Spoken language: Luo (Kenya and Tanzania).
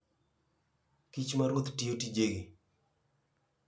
Kich ma ruoth tiyo tijegi.